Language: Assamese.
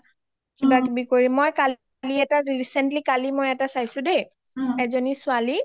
কিবা কিবি কৰি মই কালি এটা recently কালি এটা মই চাইছো দেই এজনী ছোৱালী